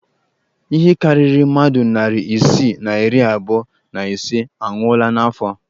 Ihe karịrị mmadụ narị isii na iri abụọ na ise anwụọla n'afọ a